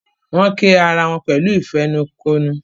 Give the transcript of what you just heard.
Wón kí àrà wón pẹ̀lú ìfẹnukonu.